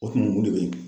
O kun ye o de bɛ